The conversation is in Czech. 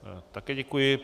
Také děkuji.